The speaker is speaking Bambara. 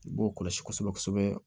I b'o kɔlɔsi kosɛbɛ kosɛbɛ